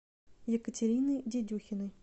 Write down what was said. екатерины дедюхиной